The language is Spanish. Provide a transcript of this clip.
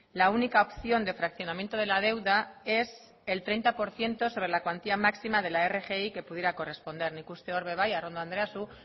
la única opción de fraccionamiento de la deuda es el treinta por ciento sobre la cuantía máxima de la rgi que pudiera corresponder nik uste dut hori ere bai arrondo anderea zuk